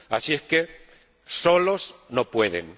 Así que solos no pueden.